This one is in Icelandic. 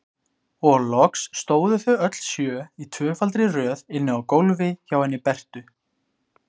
Og loks stóðu þau öll sjö í tvöfaldri röð inni á gólfi hjá henni Bertu.